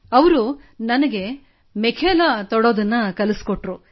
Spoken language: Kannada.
ಅವರು ನನಗೆ ಮೆಖೆಲಾ ತೊಡುವುದನ್ನೂ ಕಲಿಸಿದರು